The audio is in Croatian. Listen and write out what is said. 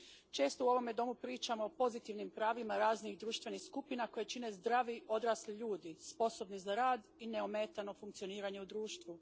Često u ovome domu pričamo o pozitivnim pravima raznih društvenih skupina koje čine zdravi odrasli ljudi, sposobni za rad i neometano funkcioniranje u društvu.